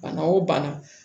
Bana o bana